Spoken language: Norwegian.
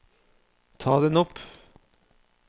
ta den opp